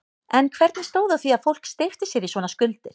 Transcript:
En hvernig stóð á því að fólk steypti sér í svona skuldir?